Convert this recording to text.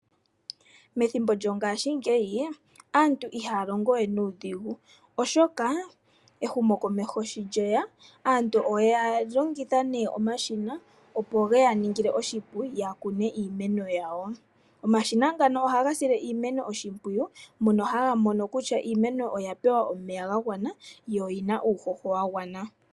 Methimbo lyongashingeyi aantu ihaya longo we nuudhigu oshoka ehumokomeho sho lye ya aantu ohaya longitha omashina opo shi ya ningile oshipu ya kune iimeno yawo. Omashina ngano ohaga sile iimeno oshimpwiyu mono haga mono kutya iimeno oya pewa omeya gagwana yo oyi na uuhoho wagwana.